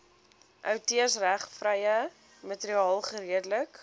outeursregvrye materiaal geredelik